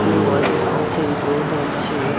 কেউ হয়তো নামছে কেউ হয়তো উঠছে ।